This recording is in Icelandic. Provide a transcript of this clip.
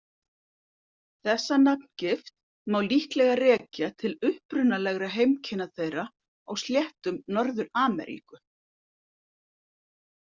Þessa nafngift má líklega rekja til upprunalegra heimkynna þeirra á sléttum Norður-Ameríku.